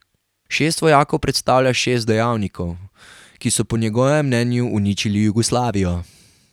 Šest vojakov predstavlja šest dejavnikov, ki so po njegovem mnenju uničili Jugoslavijo.